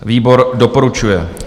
Výbor doporučuje.